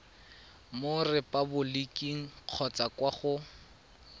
mo repaboliking kgotsa kwa go